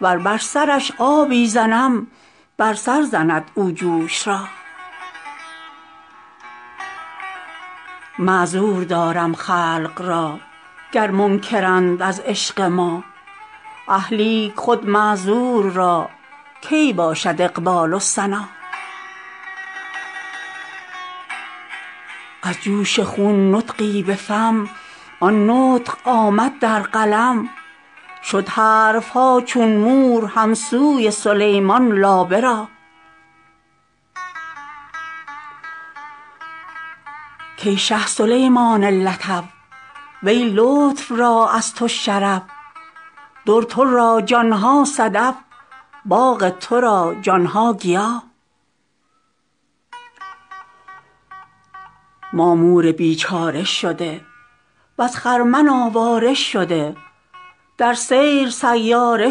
ور بر سرش آبی زنم بر سر زند او جوش را معذور دارم خلق را گر منکرند از عشق ما اه لیک خود معذور را کی باشد اقبال و سنا از جوش خون نطقی به فم آن نطق آمد در قلم شد حرف ها چون مور هم سوی سلیمان لابه را کای شه سلیمان لطف وی لطف را از تو شرف در تو را جان ها صدف باغ تو را جان ها گیا ما مور بیچاره شده وز خرمن آواره شده در سیر سیاره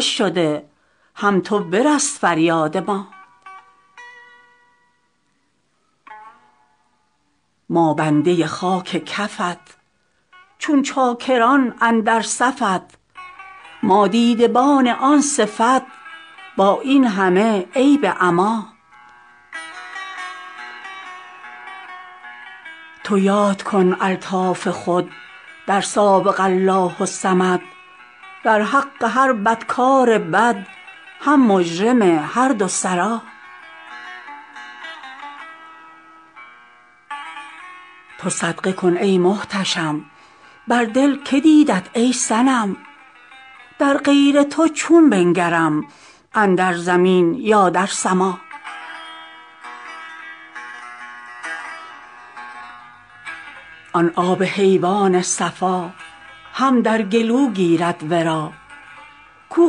شده هم تو برس فریاد ما ما بنده خاک کفت چون چاکران اندر صفت ما دیدبان آن صفت با این همه عیب عما تو یاد کن الطاف خود در سابق الله الصمد در حق هر بدکار بد هم مجرم هر دو سرا تو صدقه کن ای محتشم بر دل که دیدت ای صنم در غیر تو چون بنگرم اندر زمین یا در سما آن آب حیوان صفا هم در گلو گیرد ورا کو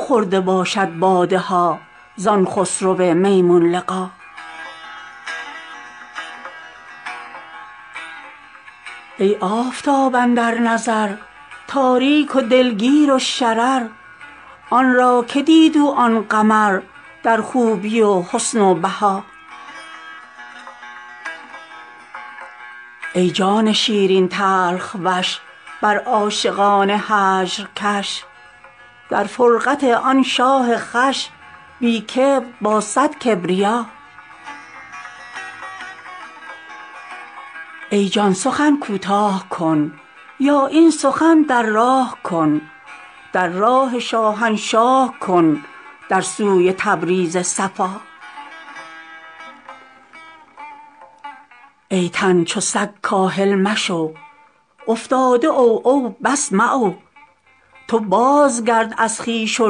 خورده باشد باده ها زان خسرو میمون لقا ای آفتاب اندر نظر تاریک و دلگیر و شرر آن را که دید او آن قمر در خوبی و حسن و بها ای جان شیرین تلخ وش بر عاشقان هجر کش در فرقت آن شاه خوش بی کبر با صد کبریا ای جان سخن کوتاه کن یا این سخن در راه کن در راه شاهنشاه کن در سوی تبریز صفا ای تن چو سگ کاهل مشو افتاده عوعو بس معو تو بازگرد از خویش و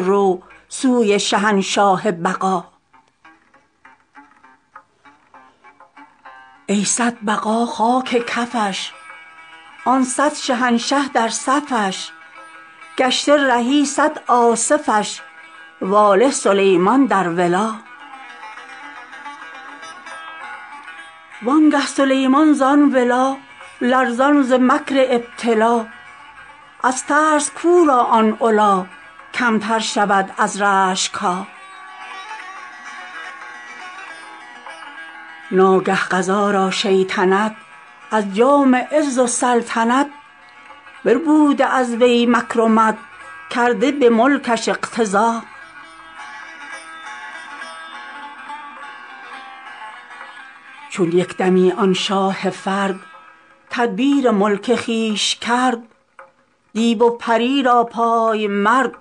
رو سوی شهنشاه بقا ای صد بقا خاک کفش آن صد شهنشه در صفش گشته رهی صد آصفش واله سلیمان در ولا وانگه سلیمان زان ولا لرزان ز مکر ابتلا از ترس کو را آن علا کمتر شود از رشک ها ناگه قضا را شیطنت از جام عز و سلطنت بربوده از وی مکرمت کرده به ملکش اقتضا چون یک دمی آن شاه فرد تدبیر ملک خویش کرد دیو و پری را پای مرد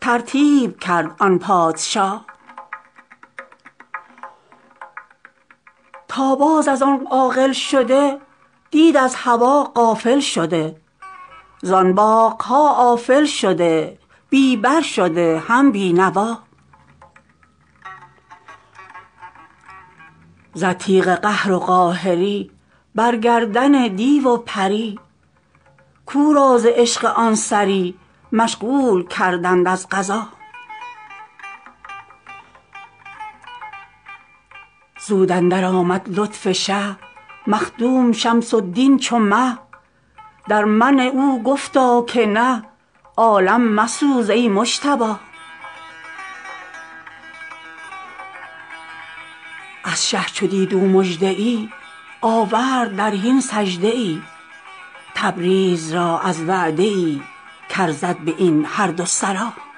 ترتیب کرد آن پادشا تا باز از آن عاقل شده دید از هوا غافل شده زان باغ ها آفل شده بی بر شده هم بی نوا زد تیغ قهر و قاهری بر گردن دیو و پری کو را ز عشق آن سری مشغول کردند از قضا زود اندرآمد لطف شه مخدوم شمس الدین چو مه در منع او گفتا که نه عالم مسوز ای مجتبا از شه چو دید او مژده ای آورد در حین سجده ای تبریز را از وعده ای کارزد به این هر دو سرا